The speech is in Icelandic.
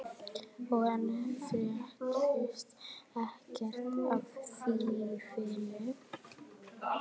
Og enn fréttist ekkert af þýfinu.